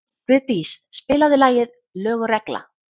Guðdís, spilaðu lagið „Lög og regla“.